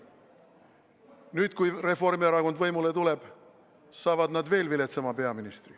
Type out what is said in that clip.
Nüüd, kui Reformierakond võimule tuleb, saavad nad veel viletsama peaministri.